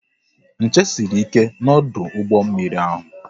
Nche sịrị ike na ọdụ ụgbọ mmiri ahụ